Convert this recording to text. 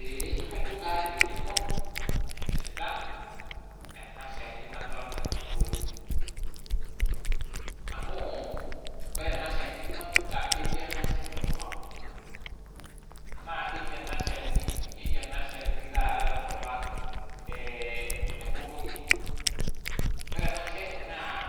Eeh kajo kata eng'eno naipirta eena shani naddolta teene wueji. Amuu oore eena shani kwanza ketii eena shani enkop ang' naa keji eena shani, keji eena shani tata te nkop ang' empopong'i. Naa oore eena shani